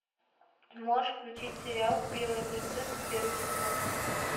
можешь включить сериал белая принцесса первый сезон